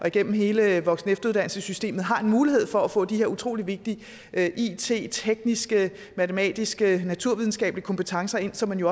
igennem hele voksen og efteruddannelsessystemet og har en mulighed for at få de her utrolig vigtige it tekniske matematiske naturvidenskabelige kompetencer ind som man